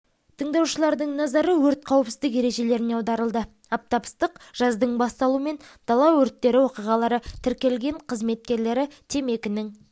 тыңдаушылардың назары өрт қауіпсіздік ережелеріне аударылды аптап ыстық жаздың басталуымен дала өрттері оқиғалары тіркелген қызметкерлері темекінің